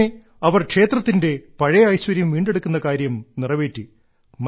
അങ്ങനെ അവർ ക്ഷേത്രത്തിന്റെ പഴയ ഐശ്വര്യം വീണ്ടെടുക്കുന്ന കാര്യം നിറവേറ്റി